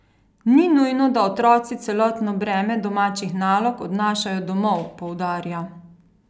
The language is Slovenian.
Ni nujno, da otroci celotno breme domačih nalog odnašajo domov, poudarja.